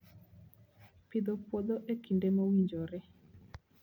Pidho puodho e kinde mowinjore